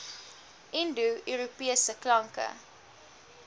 indo europese klanke